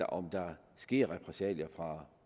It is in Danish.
om der sker repressalier fra